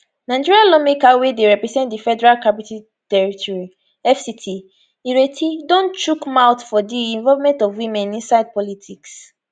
nigeria lawmaker wey dey represent di federal capital territory fct ireti don chook mouth for di involvement of women inside politics